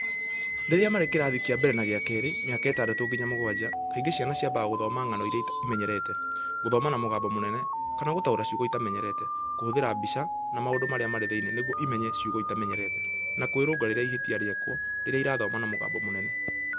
Rĩrĩa marĩ kĩrathi kĩa mbere na gĩa kerĩ mĩaka itandatũ nginya mũgwaja, kaingĩ ciana ciambaga gũthoma ng'ano iria imenyerete, 'gũthoma na mũgambo mũnene' kana gũtaũra ciugo itamenyerete, kũhũthĩra mbica na maũndũ marĩa marĩ thĩinĩ nĩguo imenye ciugo itamenyerete, na kwĩrũnga rĩrĩa ihĩtia rĩekwo rĩrĩa irathoma na mũgambo mũnene.